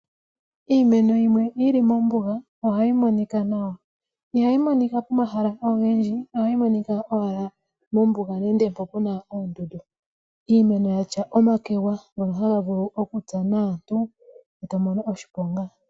Iimeno yimwe yili mombuga ohayi monika nawa, ihayi monika momahala ogendji, ohayi monika owala mombuga nenge mpoka pena oondundu. Iimeno yatya omakwega ngoka haga vulu okutsa aantu ndele tomono oshiponga.